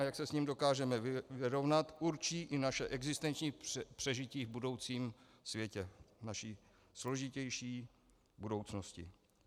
A jak se s ním dokážeme vyrovnat, určí i naše existenční přežití v budoucím světě, v naší složitější budoucnosti.